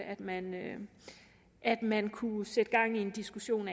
at man at man kunne sætte gang i en diskussion